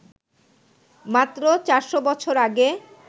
মাত্র ৪০০ বছর আগে